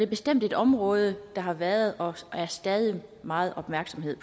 bestemt et område der har været og stadig er meget opmærksomhed